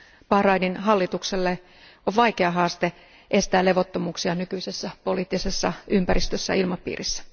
Bahrainin hallitukselle on vaikea haaste estää levottomuuksia nykyisessä poliittisessa ympäristössä ja ilmapiirissä.